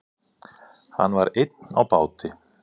Hann var einn á báti.